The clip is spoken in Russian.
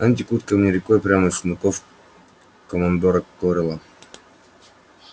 они текут ко мне рекой прямо из сундуков командора корела